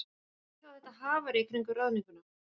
En hví þá þetta hafarí í kringum ráðninguna?